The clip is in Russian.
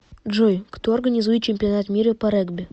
джой кто организует чемпионат мира по регби